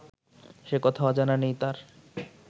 সে কথা অজানা নেই তার